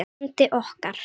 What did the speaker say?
bandi okkar.